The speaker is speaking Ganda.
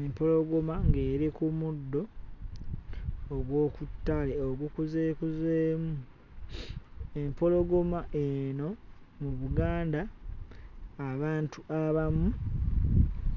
Empologoma ng'eri ku muddo ogw'oku ttale ogukuzeekuzeemu. Empologoma eno mu Buganda abantu abamu